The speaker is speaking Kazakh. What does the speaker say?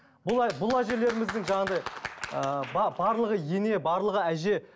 бұл бұл әжелереміздің жаңағындай ыыы барлығы ене барлығы әже